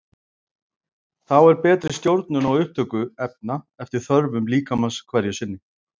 Þá er betri stjórnun á upptöku efna eftir þörfum líkamans hverju sinni.